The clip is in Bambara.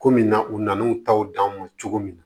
Komi na u nan'u taw d'an ma cogo min na